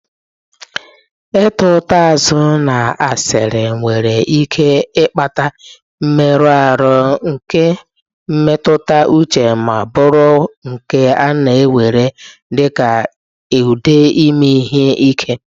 Ịta ụta azụ na asịrị nwere ike ịkpata mmerụ ahụ nke mmetụta uche ma bụrụ nke a na-ewere dịka ụdị ime ihe ike